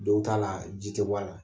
Dow ta la, ji te bɔ a la.